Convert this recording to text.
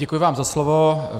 Děkuji vám za slovo.